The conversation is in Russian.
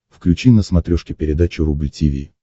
включи на смотрешке передачу рубль ти ви